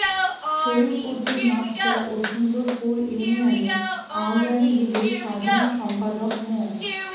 Sharif Uddin master ও সুন্দরপুর ইউনিয়নে আওয়ামী লীগের সাধারণ সম্পাদক মো